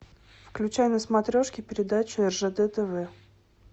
включай на смотрешке передачу ржд тв